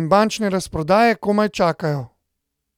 in bančne razprodaje komaj čakajo.